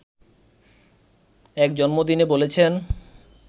এক জন্মদিনে বলেছেন